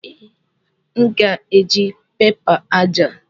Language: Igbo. Ee, m ga-eji pẹpa aja.